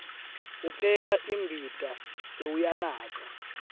upheka imbita sewuyanatsa